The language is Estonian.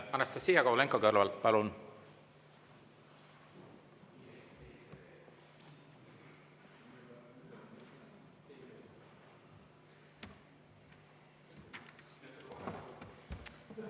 Anastassia Kovalenko-Kõlvart, palun!